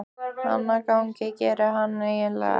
Annað gagn gerir hann eiginlega ekki.